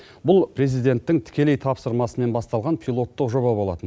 бұл президенттің тікелей тапсырмасымен басталған пилоттық жоба болатын